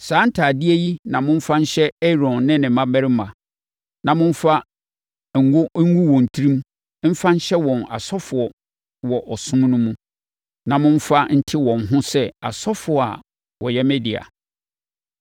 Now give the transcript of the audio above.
Saa ntadeɛ yi na momfa nhyɛ Aaron ne ne mmammarima na momfa ngo ngu wɔn tirim mfa nhyɛ wɔn asɔfoɔ wɔ ɔsom no mu, na momfa nte wɔn ho sɛ asɔfoɔ a wɔyɛ me dea.